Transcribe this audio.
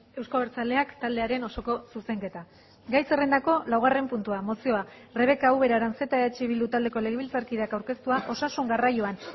euzko abertzaleak taldearen osoko zuzenketa gai zerrendako laugarren puntua mozioa rebeka ubera aranzeta eh bildu taldeko legebiltzarkideak aurkeztua osasun garraioan